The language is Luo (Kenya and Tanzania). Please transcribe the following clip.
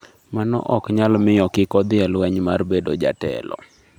Mano ok nyal miyo kik odhi e lweny mar bedo jatelo.